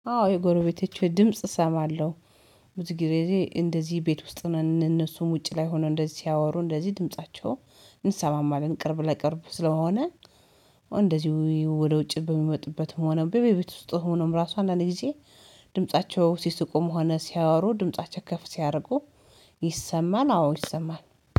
አዎ የጎረቤቶቼ ድምጽ እሰማለሁ። ብዙ ጊዜ እንደዚህ ቤት ውስጥ ነን እነሱም ውጪ ላይ ሆነው እንደዚህ ሲያወሩ እንደዚህ ድምፃቸው እንሰማማለን ቅርብ ለቅርብ ስለሆነ። እንደዚህ ወደ ውጭ በሚወጡበት ሆነ በቤትውስጥ ሆነውም ራሱ አንዳንዴ ጊዜ ድምፃቸው ሲስቁም ሆነ ሲያወሩ ድምፃቸው ከፍ ሲያደርጉ። ይሰማል አዎ ይሰማል